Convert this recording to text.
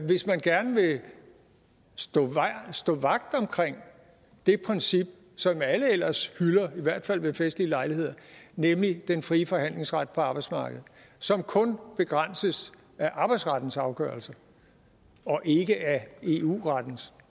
hvis man gerne vil stå stå vagt omkring det princip som alle ellers hylder i hvert fald ved festlige lejligheder nemlig den frie forhandlingsret på arbejdsmarkedet som kun begrænses af arbejdsrettens afgørelser og ikke af eu rettens